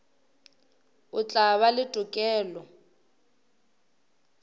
o tla ba le tokelo